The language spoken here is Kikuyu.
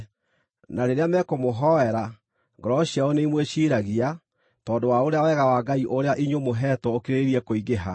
Na rĩrĩa mekũmũhoera, ngoro ciao nĩimwĩciiragia, tondũ wa ũrĩa wega wa Ngai ũrĩa inyuĩ mũheetwo ũkĩrĩrĩirie kũingĩha.